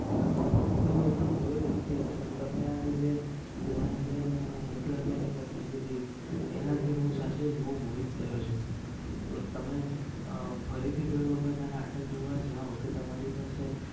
ના મને તો એટલું ખબર નથી પણ તમે એ જે દ્રોણાચાર્ય અને એકલવ્ય ની કથા કીધી એના થી હું સાચે હું બોજ મોહિત ગયો છું તો તમે અ ફરીથી કોઈ વખત અ નાટક જોવા જાવ કે તમારી પાસે